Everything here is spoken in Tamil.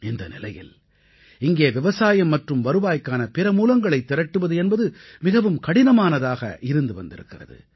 இந்த நிலையில் இங்கே விவசாயம் மற்றும் வருவாய்க்கான பிற மூலங்களை திரட்டுவது என்பது மிகவும் கடினமானதாக இருந்து வந்திருக்கிறது